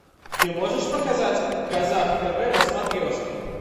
ты можешь показать казах тв на смотрешке